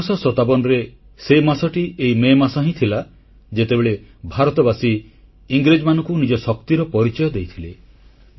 1857ରେ ସେ ମାସଟି ଏହି ମେ ମାସ ହିଁ ଥିଲା ଯେତେବେଳେ ଭାରତବାସୀ ଇଂରେଜମାନଙ୍କୁ ନିଜ ଶକ୍ତିର ପରିଚୟ ଦେଇଥିଲେ